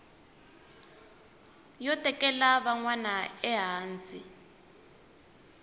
yo tekela van wana ehansi